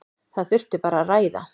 Það þurfi bara að ræða.